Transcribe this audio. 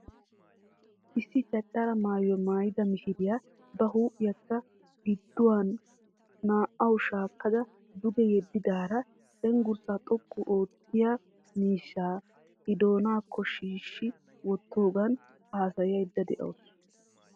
Issi cacara maayuwa maayida mishiriya ba huuphiyakka gidduwannaa"awu shaakkada duge yeeddidaara cenggurssaa xoqqu oottiyaa miishshaa I doonaakko shiishshi wottoogan haasayayida de"awusu.